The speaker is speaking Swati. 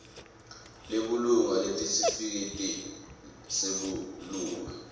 lebulunga nesitifiketi sebulunga